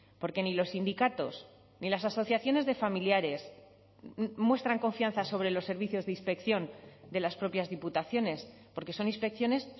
porque ni los sindicatos ni las asociaciones de familiares muestran confianza sobre los servicios de inspección de las propias diputaciones porque son inspecciones